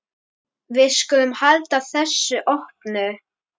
Við skulum halda þessu opnu.